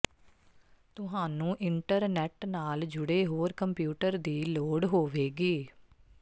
ਤੁਹਾਨੂੰ ਇੰਟਰਨੈੱਟ ਨਾਲ ਜੁੜੇ ਹੋਰ ਕੰਪਿਊਟਰ ਦੀ ਲੋੜ ਹੋਵੇਗੀ